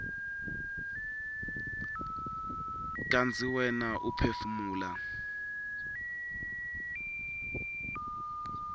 kantsi wena uphefumula